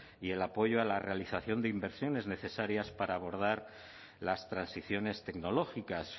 y el apoyo a la realización de inversiones necesarias para abordar las transiciones tecnológicas